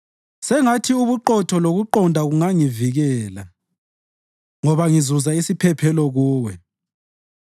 Sengathi ubuqotho lokuqonda kungangivikela, ngoba ngizuza isiphephelo Kuwe.